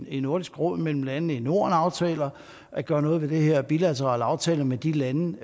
i nordisk råd mellem landene i norden aftaler at gøre noget ved det her af bilaterale aftaler med de lande